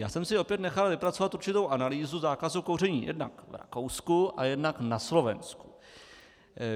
Já jsem si opět nechal vypracovat určitou analýzu zákazu kouření jednak v Rakousku a jednak na Slovensku.